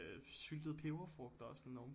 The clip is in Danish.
Syltet peberfrugt også sådan oven på